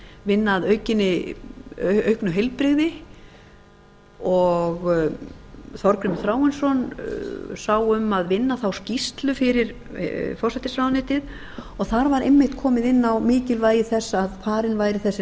vinna að auknu heilbrigði og þorgrímur þráinsson sá um að vinna þá skýrslu fyrir forsætisráðuneytið og þar var einmitt komið inn á mikilvægi þess að farin væri þessi